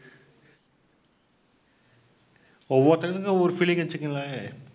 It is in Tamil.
ஒவ்வொருத்தரும் ஒவ்வொரு feeling வச்சிக்கங்களேன்